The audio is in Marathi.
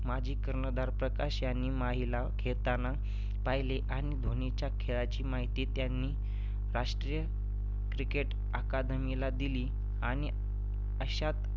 माजी कर्णधार प्रकाश ह्यांनी माहीला खेळताना पाहिले आणि धोनीच्या खेळाची माहिती त्यांनी राष्ट्रीय cricket academy ला दिली आणि अशात